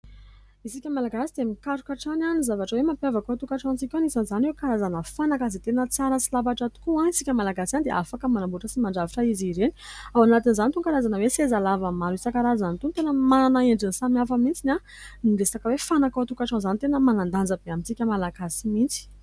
Isika Malagasy dia mikaroka hatrany ny zavatra hoe mampiavaka ao an-tokantranotsika ao. Misy an'izany hoe karazana fanaka izay tena tsara sy lafatra tokoa, isika Malagasy ihany dia afaka manamboatra sy mandrafitra izy ireny. Ao anatin'izany itony karazana hoe sezalava maro isankarazany itony, tena manana endriny samy hafa mihitsy. Ny resaka hoe fanaka ao an-tokantrano izany tena manan-danja be amintsika Malagasy mihitsy.